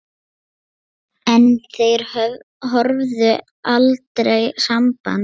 En þeir höfðu aldrei samband